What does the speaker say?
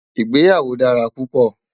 ìgbéyàwó dára púpò